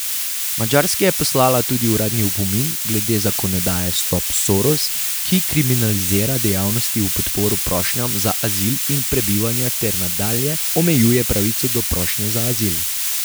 Madžarski je poslala tudi uradni opomin glede zakonodaje Stop Soros, ki kriminalizira dejavnosti v podporo prošnjam za azil in prebivanje ter nadalje omejuje pravico do prošnje za azil.